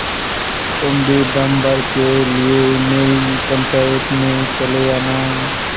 तुम भी दम भर के लिए मेरी पंचायत में चले आना